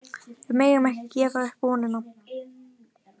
Við megum ekki gefa upp vonina